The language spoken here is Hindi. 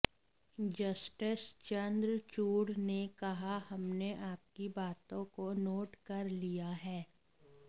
जस्टिस चंद्रचूड़ ने कहा हमने आपकी बातों को नोट कर लिया है